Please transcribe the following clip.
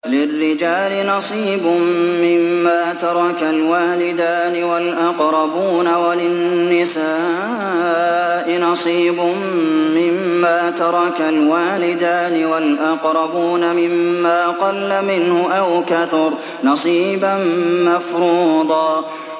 لِّلرِّجَالِ نَصِيبٌ مِّمَّا تَرَكَ الْوَالِدَانِ وَالْأَقْرَبُونَ وَلِلنِّسَاءِ نَصِيبٌ مِّمَّا تَرَكَ الْوَالِدَانِ وَالْأَقْرَبُونَ مِمَّا قَلَّ مِنْهُ أَوْ كَثُرَ ۚ نَصِيبًا مَّفْرُوضًا